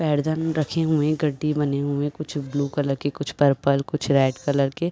पैरधन रखे हुए गड्डी बने हुए कुछ ब्लू कलर के कुछ पर्पल कुछ रेड कलर के ।